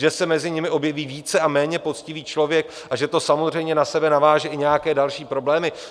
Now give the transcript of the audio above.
Že se mezi nimi objeví více a méně poctivý člověk a že to samozřejmě na sebe naváže i nějaké další problémy?